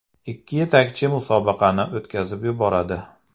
Ikki yetakchi musobaqani o‘tkazib yuboradi.